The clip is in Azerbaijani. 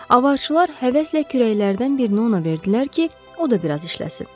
Avarçılar həvəslə kürəklərdən birini ona verdilər ki, o da bir az işləsin.